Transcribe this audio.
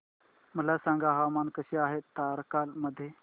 मला सांगा हवामान कसे आहे तारकर्ली मध्ये